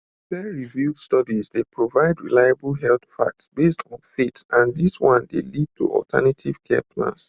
peerreviewed studies dey provide reliable health facts based on faith and dis one dey lead to alternative care plans